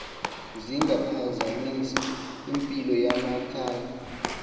zingaphazamisa impilo yamakhaya